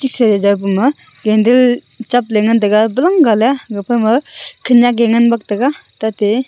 candle chapley ngan taiga balangaley gapama khenyak e ngan bak taiga tatey.